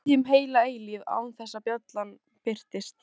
Við biðum heila eilífð án þess að bjallan birtist.